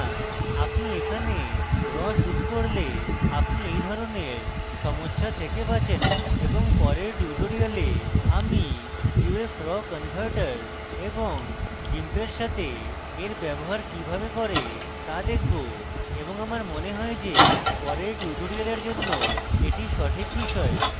আপনি এখানে raw shoot করলে আপনি এই ধরনের সমস্যা থেকে বাচেন এবং পরের tutorial আমি uf raw converter এবং gimp সাথে এর ব্যবহার কিভাবে করে তা দেখাবো এবং আমার মনে হয় যে পরের tutorial জন্য এটি সঠিক বিষয়